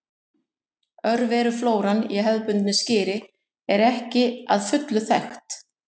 Örveruflóran í hefðbundnu skyri er ekki að fullu þekkt.